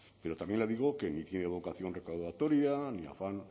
pero también le digo que ni tiene vocación recaudatoria ni afán